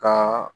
Ka